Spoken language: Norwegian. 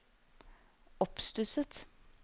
oppstusset